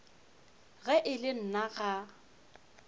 ge e le nna ga